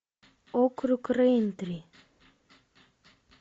округ рэйнтри